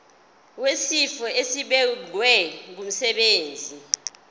wesifo esibagwe ngumsebenzi